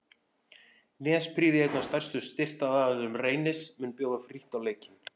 Nesprýði einn af stærstu styrktaraðilum Reynis mun bjóða frítt á leikinn.